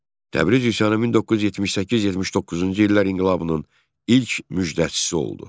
Təbriz üsyanı 1978-79-cu illər inqilabının ilk müjdəçisi oldu.